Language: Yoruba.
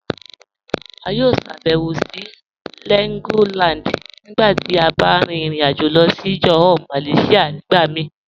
A yọ ṣàbẹ̀wò sí Legoland nígbà tí a bá rìn ìrìn-àjọ̀ lọ sí Johor Malaysia nígbà mí